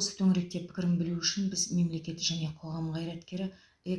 осы төңіректе пікірін білу үшін біз мемлекет және қоғам қайраткері